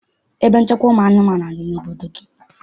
Ebe nchekwa ụmụ anụmanụ adị n'obodo gị?